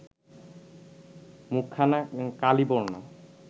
মুখখানা কালিবর্ণ